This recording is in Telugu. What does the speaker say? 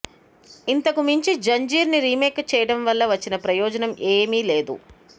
ఇంతకుమించి జంజీర్ని రీమేక్ చేయడం వల్ల వచ్చిన ప్రయోజనం ఏమీ లేదు